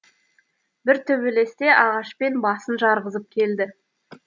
бір төбелесте ағашпен басын жарғызып келді